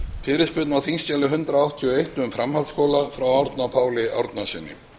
fyrirspurn á þingskjali hundrað áttatíu og eitt um framhaldsskóla aldur og fleira frá árna páli árnasyni